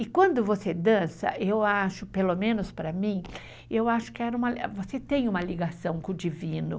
E quando você dança, eu acho, pelo menos para mim, eu acho que você tem uma ligação com o divino.